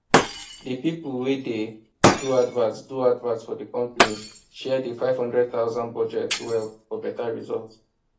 d people wey dey do advert do advert for d company share d five hundred thousand budget well for better result